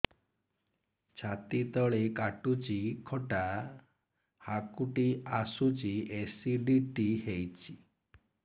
ଛାତି ତଳେ କାଟୁଚି ଖଟା ହାକୁଟି ଆସୁଚି ଏସିଡିଟି ହେଇଚି